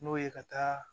N'o ye ka taa